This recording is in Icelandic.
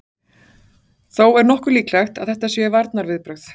Þó er nokkuð líklegt að þetta séu varnarviðbrögð.